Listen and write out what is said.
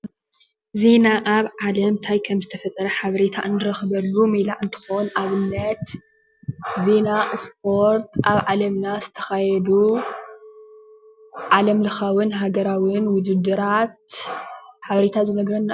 ዜና ኣብ ዓለም እንታይ ከምተፈጠረ ሓበሬታ እንረክበሉ ሜላ እንትኮን ኣብነት ዜና ስፖርት ኣብ ዓለምና ዝተካየዱ ዓለምላካዊን ሃገራዊን ውድድራት ዝካየደሉ ሓበሬታ ንረክበሉ።